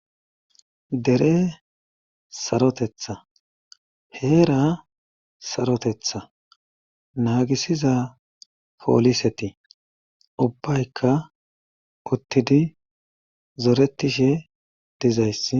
Dere sarotetha heera sarotetha naagisiza pooliseti ubbayka uttidi zoretishe dizayssi